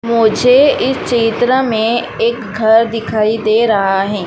मुझे इस चित्र में एक घर दिखाई दे रहा है।